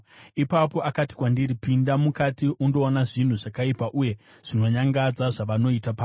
Ipapo akati kwandiri, “Pinda mukati undoona zvinhu zvakaipa uye zvinonyangadza zvavanoita pano.”